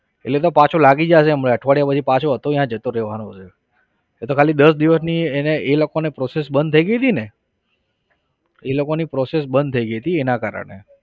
એટલે એ તો પાછો લાગી જશે હમણાં અઠવાડિયા પછી પાછો હતો ત્યાં જતો રહેવાનો છે. એ તો ખાલી દસ દિવસની એને એ લોકોને process બંધ થઇ ગઈ હતીને. એ લોકોની process બંધ થઇ ગઈ હતી એના કારણે.